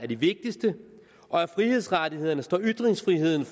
de vigtigste og af frihedsrettighederne står ytringsfriheden